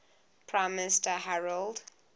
prime minister harold